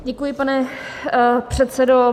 Děkuji, pane předsedo.